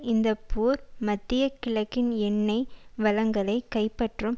இந்த போர் மத்திய கிழக்கின் எண்ணெய் வளங்களை கைப்பற்றும்